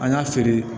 An y'a feere